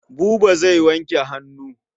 Buba zai wanke hannu.